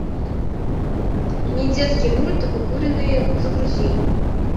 недетский мульт укуренные загрузи